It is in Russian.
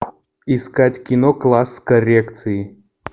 искать кино класс коррекции